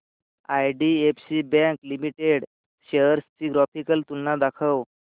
IDFC bank limited shares ची graphical तुलना दाखव